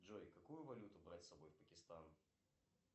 джой какую валюту брать с собой в пакистан